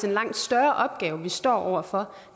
en langt større opgave vi står over for